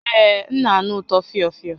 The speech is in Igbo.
Ee, m na-anụ ụtọ fịọ fịọ